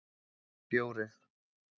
fjórir